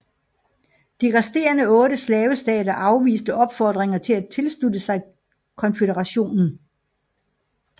De resterende 8 slavestater afviste opfordringer til at tilslutte sig Konføderationen